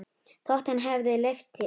Þótt hann hefði leyft sér það.